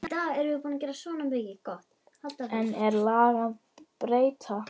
Enn er lag að breyta.